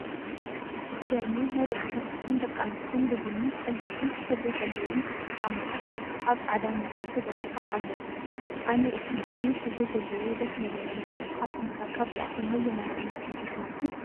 ዝገርሙ ናይ ደቂ ተባዕትዮን ደቂ ኣንስትዮን ብቡኒ፣ ቐይሕን ሕብሪ ዘለዎም ክፍቲ ጫማታት ኣብ ፃዕዳ ምንፃፍ ተዘርጊሖም ኣለው፡፡ ኣነ እቲ ቡኒ ሕብሪ ዘለዎ ደስ ንበለኒ፡፡ ንስኻትኩም ከ ካብዚኣቶም ነየናይ ዓይነት ሕብሪ ትመርፁ?